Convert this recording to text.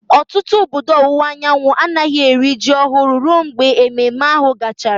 Ọtụtụ obodo ọwụwa anyanwụ anaghị eri ji ọhụrụ ruo mgbe ememme ahụ gachara.